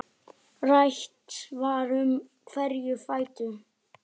Rætt var um hverjir færu.